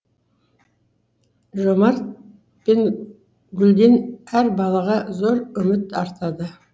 жомарт пен гүлден әр балаға зор үміт артады